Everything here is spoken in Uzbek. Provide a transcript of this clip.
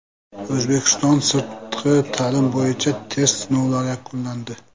O‘zbekistonda sirtqi ta’lim bo‘yicha test sinovlari yakunlandi.